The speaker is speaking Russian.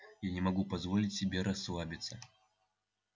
я не могу позволить себе расслабиться